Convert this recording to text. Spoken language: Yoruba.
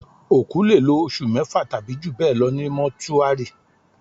Òkú lè lò oṣù mẹ́fà tàbí jù bẹ́ẹ̀ lọ ní Mọ́túárì